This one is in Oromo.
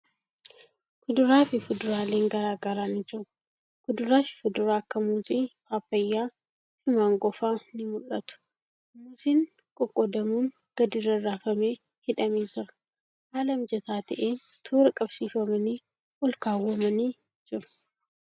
Kuduraa fi fuduraalen garagaraa ni jiru. Kuduraa fi fuduraa akka Muuzii, Paappayyaa fi Maangoo fa'a ni mul'atu. Muuzin qoqqoodamuun gadi rarraafamee hidhamee jira. Haala mijataa ta'een toora qabsiifamanii olkaawwamanii jiru.